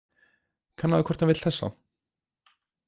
Kannaðu hvort hann vill þessa.